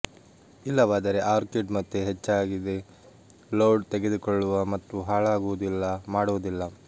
ಇಲ್ಲವಾದರೆ ಆರ್ಕಿಡ್ ಮತ್ತೆ ಹೆಚ್ಚಾಗಿದೆ ಲೋಡ್ ತಡೆದುಕೊಳ್ಳುವ ಮತ್ತು ಹಾಳಾಗುವುದಿಲ್ಲ ಮಾಡುವುದಿಲ್ಲ